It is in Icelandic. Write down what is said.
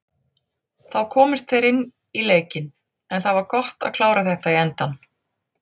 Þá komust þeir inn í leikinn, en það var gott að klára þetta í endann.